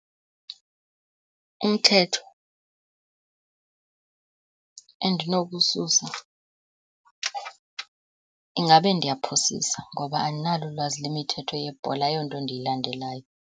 Umthetho endinokuwususa , ingabe ndiyaphosisa ngoba andinalo ulwazi lwemithetho yebhola, ayonto endiyilandelayo.